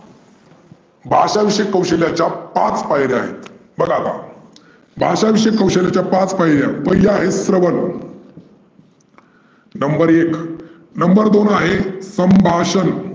भाषा विषयी कौशल्याच्या पाच पायर्‍या आहेत. कळलं का? भाषा विषयी कौशल्याच्या पाच पायर्‍या. पहिली आहे स्रवन number एक number दोन वर आहे संभाषन.